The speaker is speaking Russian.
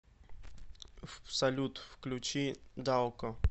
салют включи даоко